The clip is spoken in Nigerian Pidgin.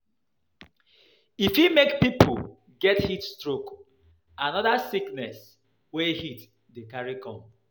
E fit make pipo get heat stroke and oda sickness wey heat dey carry come